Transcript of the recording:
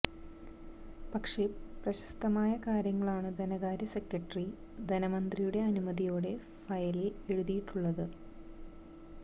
പക്ഷേ പ്രസക്തമായ കാര്യങ്ങളാണു ധനകാര്യ സെക്രട്ടറി ധനമന്ത്രിയുടെ അനുമതിയോടെ ഫയലിൽ എഴുതിയിട്ടുള്ളത്